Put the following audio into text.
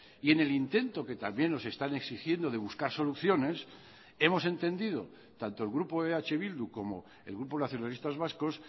y en el intento que también nos están exigiendo de buscar soluciones hemos entendido tanto el grupo eh bildu como el grupo nacionalistas vascos